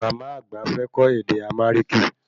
Màmá àgbà fẹ́ kõ ède Amariki